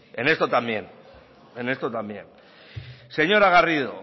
en esto también en esto también señora garrido